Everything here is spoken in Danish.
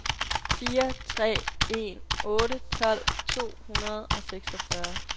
fire tre en otte tolv to hundrede og seksogfyrre